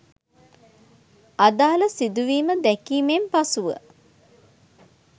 අදාළ සිදුවීම දැකීමෙන් පසුව